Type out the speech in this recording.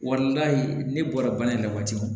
Wali ne bɔra yen ka waatiw